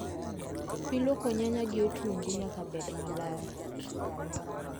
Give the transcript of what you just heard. Pii luoko nyanya gi otungu nyaka bed maler